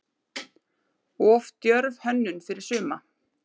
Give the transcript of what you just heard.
Of djörf hönnun fyrir suma?